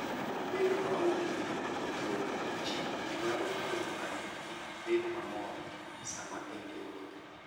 Bedo maonge gi tudruok gi ji nyalo miyo ng'ato kik bed mamor sama en e wuoth.